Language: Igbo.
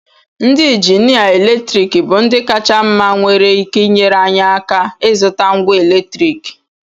Ndị injinia eletriki bụ ndị kacha mma nwere ike inyere anyị aka ịzụta ngwa eletriki